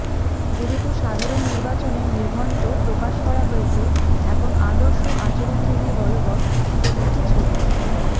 যেহেতু সাধারণ নির্বাচনের নির্ঘণ্ট প্রকাশ করা হয়েছে এখন আদর্শ আচরণবিধি বলবৎ প্রতীকী ছবি